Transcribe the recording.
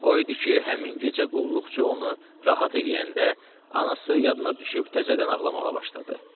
O idi ki, həmin gecə qulluqçu onu rahat eləyəndə, anası yadına düşüb təzədən ağlamağa başladı.